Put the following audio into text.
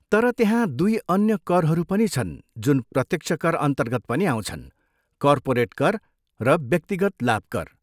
तर त्यहाँ दुई अन्य करहरू पनि छन् जुन प्रत्यक्ष करअन्तर्गत पनि आउँछन्, कर्पोरेट कर र व्यक्तिगत लाभ कर।